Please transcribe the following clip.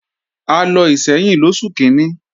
A lọ Ìṣẹ́yìn lóṣù kíní